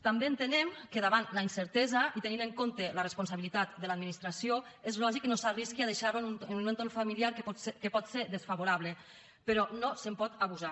també entenem que davant la incertesa i tenint en compte la responsabilitat de l’administració és lògic que no s’arrisqui a deixar lo en un entorn familiar que pot ser desfavorable però no se’n pot abusar